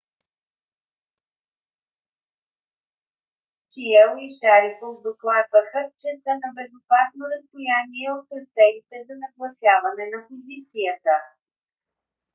чиао и шарипов докладваха че са на безопасно разстояние от тръстерите за нагласяване на позицията